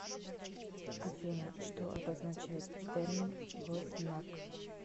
афина что обозначает термин гознак